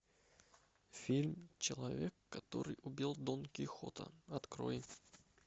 фильм человек который убил дон кихота открой